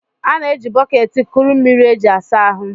A na-eji bọket kuru mmiri e ji asa ahụ